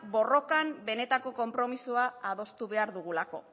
borrokan benetako konpromisoa adostu behar dugulako